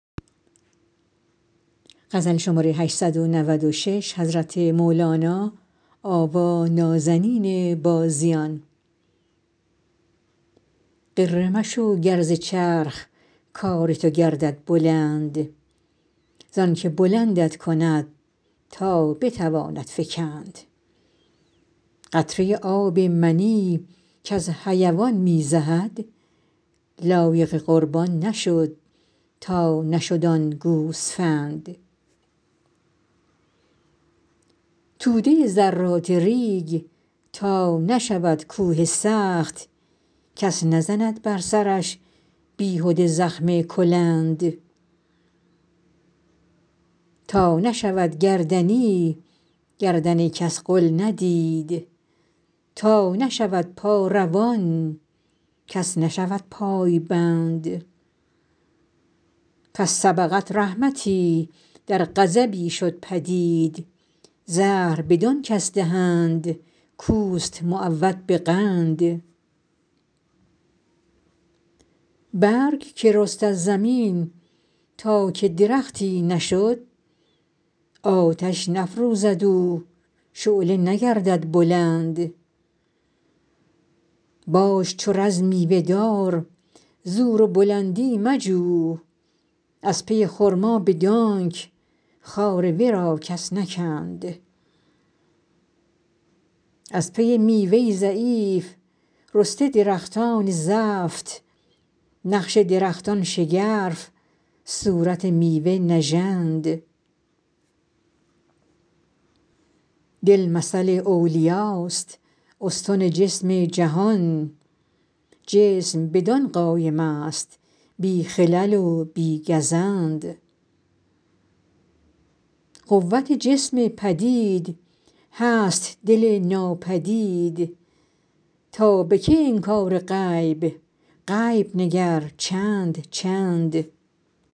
غره مشو گر ز چرخ کار تو گردد بلند زانک بلندت کند تا بتواند فکند قطره آب منی کز حیوان می زهد لایق قربان نشد تا نشد آن گوسفند توده ذرات ریگ تا نشود کوه سخت کس نزند بر سرش بیهده زخم کلند تا نشود گردنی گردن کس غل ندید تا نشود پا روان کس نشود پای بند پس سبقت رحمتی در غضبی شد پدید زهر بدان کس دهند کوست معود به قند برگ که رست از زمین تا که درختی نشد آتش نفروزد او شعله نگردد بلند باش چو رز میوه دار زور و بلندی مجو از پی خرما بدانک خار ورا کس نکند از پی میوه ضعیف رسته درختان زفت نقش درختان شگرف صورت میوه نژند دل مثل اولیاست استن جسم جهان جسم به دل قایم است بی خلل و بی گزند قوت جسم پدید هست دل ناپدید تا به کی انکار غیب غیب نگر چند چند